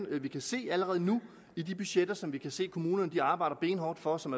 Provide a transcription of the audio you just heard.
det vi kan se allerede nu i de budgetter som vi kan se kommunerne arbejder benhårdt for og som